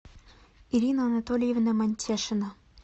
ирина анатольевна мантешина